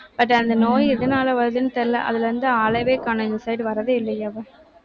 but அந்த நோய் எதனால வருதுன்னு தெரியலே. அதுல இருந்து ஆளவே காணோம். இந்த side வர்றதே இல்லையே அவ.